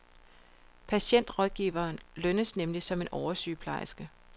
Patientrådgiveren lønnes nemlig som en oversygeplejerske.